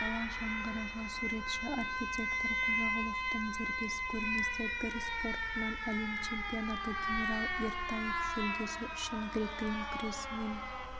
дала жаңғырығы суретші-архитектор қожағұловтың дербес көрмесі гір спортынан әлем чемпионаты генерал ертаев жүлдесі үшін грек-рим күресінен